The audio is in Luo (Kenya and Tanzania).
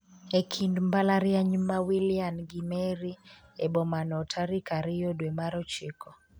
e kind mbalariany ma Wilian gi Mary e bomano tarik ariyo dwe mar ochiko